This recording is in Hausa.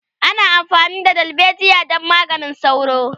ana amfani da dalbejiya don maganin sauro